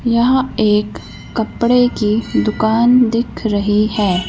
यहां एक कपड़े की दुकान दिख रही है।